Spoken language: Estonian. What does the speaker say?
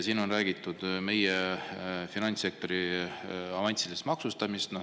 Siin on räägitud meie finantssektori avansilisest maksustamisest.